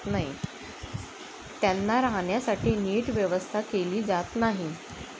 त्यांना राहण्यासाठी नीट व्यवस्था केली जात नाही.